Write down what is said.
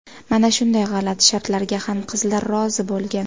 Mana shunday g‘alati shartlarga ham qizlar rozi bo‘lgan.